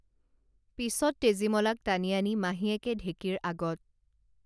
পিছত তেজীমলাক টানি আনি মাহীয়েকে ঢেঁকীৰ আগত